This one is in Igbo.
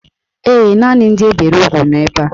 Ee, naanị ndị e bere ugwu nọ ebe a.